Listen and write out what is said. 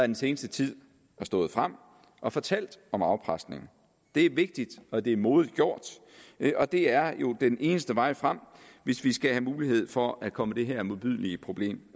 den seneste tid har stået frem og fortalt om afpresning det er vigtigt og det er modigt gjort og det er jo den eneste vej frem hvis vi skal have mulighed for at komme det her modbydelige problem